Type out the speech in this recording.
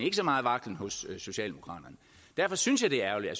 ikke så megen vaklen hos socialdemokraterne derfor synes jeg det er ærgerligt at